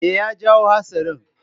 Me ya jawo hatsarin?